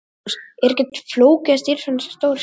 Magnús: Er ekkert flókið að stýra svona stóru skipi?